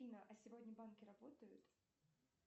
афина а сегодня банки работают